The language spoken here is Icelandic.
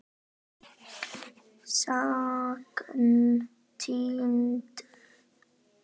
Sagan týnd.